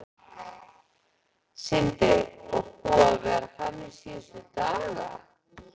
Sindri: Og búið að vera þannig síðustu daga?